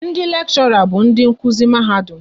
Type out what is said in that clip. Ndị lekshora bụ ndị nkuzi Mahadum